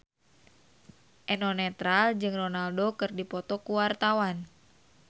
Eno Netral jeung Ronaldo keur dipoto ku wartawan